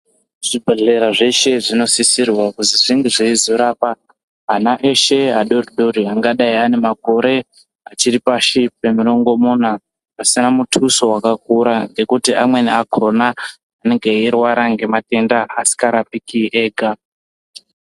Zvibhedhlera zveshe zvinosisirwawo kuti, zvinge zveizorapa, ana eshe adodori, angadai ane makore, achiri pashi pemarongomuna, pasina muthuso wakakura ngekuti, amweni akhona anenga eirwara ngematenda asingarapiki ega.